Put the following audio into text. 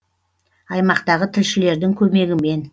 аймақтағы тілшілердің көмегімен